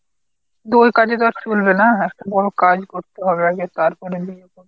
তো ওই কাজে তো আর চলবে না। একটা বড় কাজ করতে হবে আগে তারপরে বিয়ে করব।